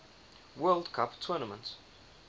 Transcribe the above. world cup tournament